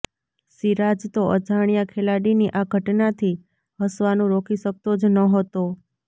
સિરાજ તો અજાણ્યા ખેલાડીની આ ઘટનાથી હસવાનું રોકી શકતો જ નહોતો